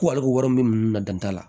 Ko ale ko wari bɛ ninnu na dan t'a la